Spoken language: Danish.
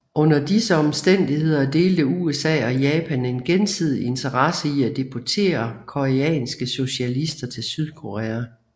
Under disse omstændigheder delte USA og Japan en gensidig interesse i at deportere koreanske socialister til Sydkorea